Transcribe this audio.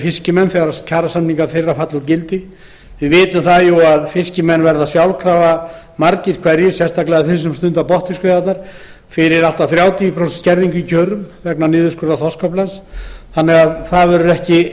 fiskimenn þegar kjarasamningar þeirra falla úr gildi við vitum jú að margir hverjir verða sjálfkrafa fyrir allt að þrjátíu prósent kjaraskerðingu vegna niðurskurðar þorskaflans sérstaklega þeir sem stunda botnfiskveiðarnar það verður